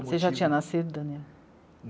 Você já tinha nascido, Daniel?